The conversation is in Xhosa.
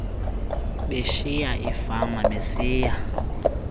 beshiya iifama besiya